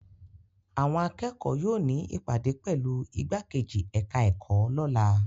Àwọn akẹ́kọ̀ọ́ yóò ní ìpàdé pẹ̀lú ìgbákejì ẹ̀ka-ẹ̀kọ́ lọ́la.